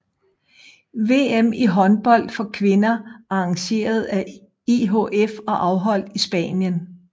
VM i håndbold for kvinder arrangeret af IHF og afholdt i Spanien